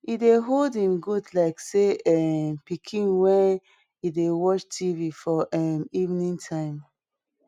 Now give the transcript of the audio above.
he dey hold em goat like say na um pikin wen e dey watch tv for um evening time